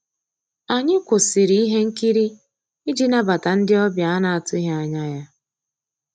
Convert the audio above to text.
Ànyị́ kwụ́sị́rí íhé nkírí ìjì nabàtà ndị́ ọ̀bịá á ná-àtụ́ghị́ ànyá yá.